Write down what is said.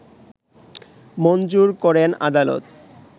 মঞ্জুর করেন আদালত